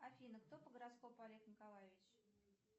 афина кто по гороскопу олег николаевич